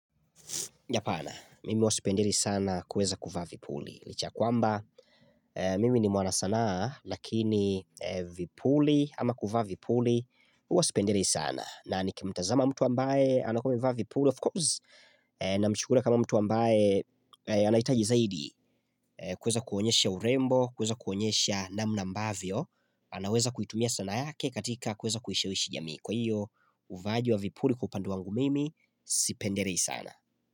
Hapana, mimi huwa sipendelei sana kuweza kuvaa vipuli. Licha ya kwamba, mimi ni mwanasanaa, lakini vipuli ama kuvaa vipuli, huwa sipendelei sana. Na ni kimtazama mtu ambaye, anakuwa ameva vipuli, of course, na mchukulia kama mtu ambaye anahitaji zaidi. Kuweza kuonyesha urembo, kuweza kuonyesha namna ambavyo, anaweza kuitumia sanaa yake katika kuweza kuishawishi jamii. Kwa hiyo, uvaaji wa vipuli kwa upande wangu mimi, sipendelei sana.